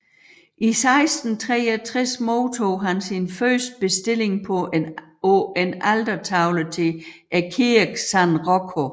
I 1663 modtog han sin første bestilling på en altertavle til kirken San Rocco